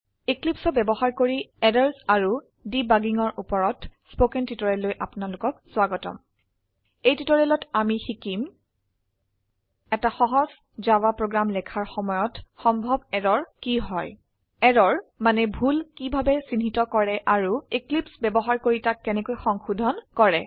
Eclipseঅৰ বয়ৱহাৰ কৰি errors and Debuggingঅৰ উপৰতস্পকেন টিউটৰিয়েললৈ আপোনাৰলোকক স্ৱাগতম এই টিউটৰিয়েলত আমি শিকিম এটা সহজ জাভা প্ৰোগ্ৰাম লেখাৰ সময়ত সম্ভব এৰৰ কি হয় এৰৰ মানে ভুল কিভাবে চিহ্নিত কৰে আৰু এক্লিপছে ব্যবহাৰ কৰি তাক কেনেকৈ সংশোধন কৰে